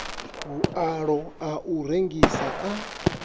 vhualo a u rengisa a